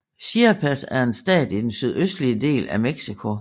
Chiapas er en stat i den sydøstlige del af Mexico